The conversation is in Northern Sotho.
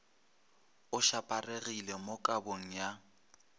a šaparegilego mo kabong ya